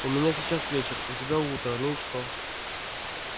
у меня сейчас вечер у тебя утро ну и что